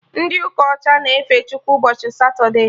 Ndị ụka ọcha na-efe Chukwu ụbọchị Satode